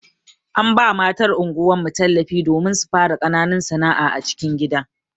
An ba matan anguwar mu tallafi domin su fara ƙananun sana'a a cikin gida.